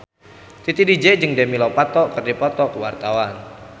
Titi DJ jeung Demi Lovato keur dipoto ku wartawan